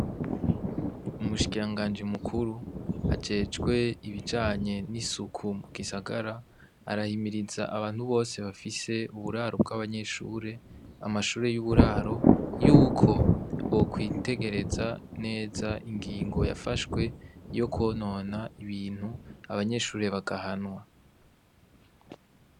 Umushikiranganji mukuru ajejwe ibijanye n'isuku mu gisagara arahimiriza abantu bose bafise uburaro bw'abanyeshure, amashure y'uburaro yuko bokwitegereza neza ingingo yafashwe iyo kwonona ibintu abanyehure bagahanwa.